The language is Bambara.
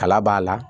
Kala b'a la